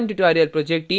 spoken tutorial project team